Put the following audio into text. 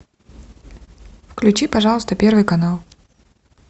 включи пожалуйста первый канал